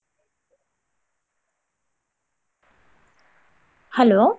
Hello.